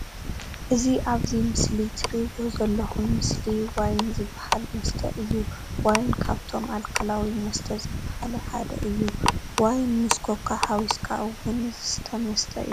እዚ ኣብዚ ምስሊ ትርእይዎ ዘለኩም ምስሊ ዋይን ዝባሃል መስተ እዩ። ዋይን ካብቶም ኣልኮላዊ መስተ ዝባሃሉ ሓደ እዩ። ዋይን ምስ ኮካ ሓዊስካ እውን ዝስተ መስተ እዩ።